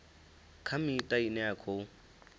kha miṱa ine ya khou